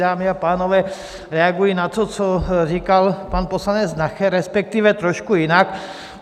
Dámy a pánové, reaguji na to, co říkal pan poslanec Nacher, respektive trošku jinak.